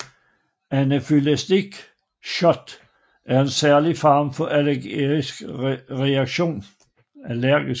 Anafylaktisk shock er en særlig farlig form for allergisk reaktion